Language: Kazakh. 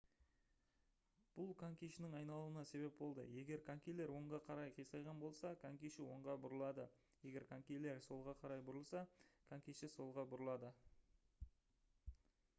бұл конькишінің айналуына себеп болады егер конькилер оңға қарай қисайған болса конькиші оңға бұрылады егер конькилер солға бұрылса конькиші солға бұрылады